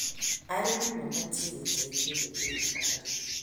Arĩmi mabatiĩ gũteithio nĩ thirikari.